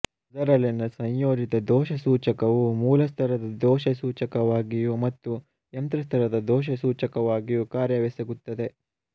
ಇದರಲ್ಲಿನ ಸಂಯೋಜಿತ ದೋಷಸೂಚಕವು ಮೂಲಸ್ತರದ ದೋಷಸೂಚಕವಾಗಿಯೂ ಮತ್ತು ಯಂತ್ರಸ್ತರದ ದೋಷಸೂಚಕವಾಗಿಯೂ ಕಾರ್ಯವೆಸಗುತ್ತದೆ